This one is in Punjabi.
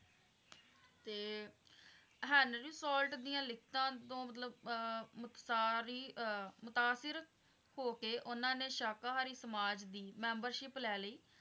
ਤੇ ਹੈਨਰੀ ਸਵਲਤ ਦੀਆਂ ਲਿਖਤਾਂ ਤੋਂ ਮਤਲੱਬ ਆਹ ਨੁਕਸਾਰ ਹੀ ਆਹ ਮੁਸਾਫ਼ਿਰ ਹੋਕੇ ਉਹਨਾਂ ਨੇ ਸ਼ਾਕਾਹਾਰੀ ਸਮਾਜ ਦੀ membership ਲੈ ਲਈ।